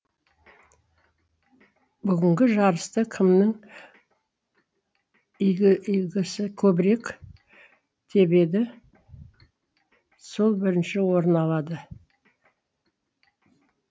бүгінгі жарыста кімнің игісі көбірек тебеді сол бірінші орын алады